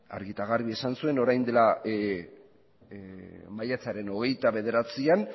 argi eta garbi esan zuen maiatzaren hogeita bederatzian